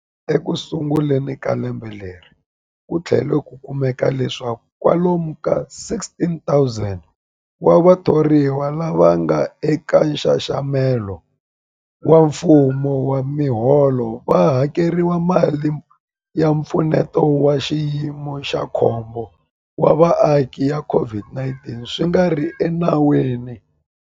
Ekusunguleni ka lembe leri, ku tlhele ku kumeka leswaku kwalomu ka 16,000 wa vathoriwa lava nga eka nxaxamelo wa mfumo wa miholo va hakeriwile mali ya Mpfuneto wa Xiyimo xa Khombo wa Vaaki ya COVID-19 swi nga ri enawini.